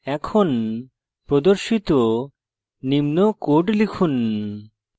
এখন প্রদর্শিত নিম্ন code লিখুন